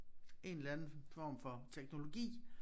En eller anden form for teknologi